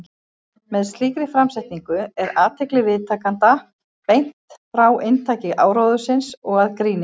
Með slíkri framsetningu er athygli viðtakenda beint frá inntaki áróðursins og að gríninu.